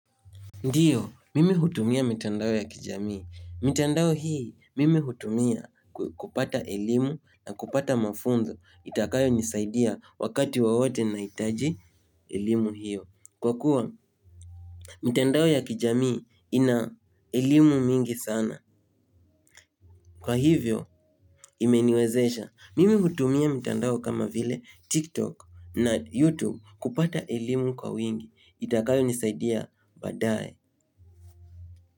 Ndio, mimi utumia mitandao ya kijamii mitandao hii, mimi utumia kupata elimu na kupata mafunzo. Itakayo nisaidia wakati wowote nahitaji elimu hiyo. Kwa kuwa, mitandao ya kijamii ina elimu mingi sana. Kwa hivyo, imeniwezesha, mimi utumia mitandao kama vile TikTok na YouTube kupata elimu kwa wingi. Itakayo nisaidia badaye.